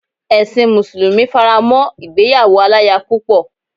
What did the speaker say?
Ẹ̀sin mùsùlùmí fará mọ́ ìgbéyàwó aláya púpọ̀.